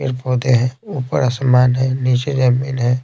फिर पौधे हैं ऊपर आसमान है नीचे जमीन है।